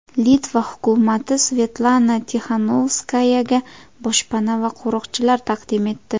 Litva hukumati Svetlana Tixanovskayaga boshpana va qo‘riqchilar taqdim etdi.